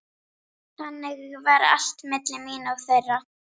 Þannig var allt milli mín og þeirra.